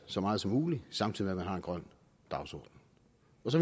så meget som muligt samtidig med man har en grøn dagsorden